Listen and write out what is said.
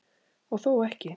Og þó ekki!